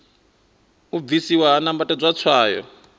u bvisiwa ha nambatedzwa tswayo